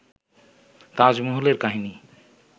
তাজমহলের কাহিনী